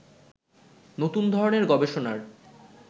নতুন ধরনের গবেষণার